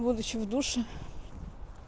будучи в душе